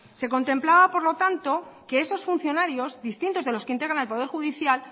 se contemplaba por lo tanto que esos funcionarios distintos de los que integran el poder judicial